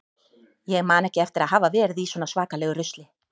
Ég man ekki eftir að hafa verið í svona svakalegu rusli.